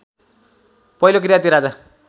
पहिलो किराँती राजा